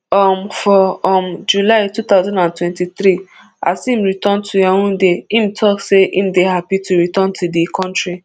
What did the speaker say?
um for um july two thousand and twenty-three as im return to yaounde im tok say im dey happy to return to di kontri